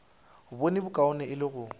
bone bokaone e le go